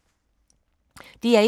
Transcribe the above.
DR1